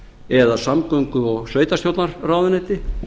eða samgöngu og sveitarstjórnarráðuneyti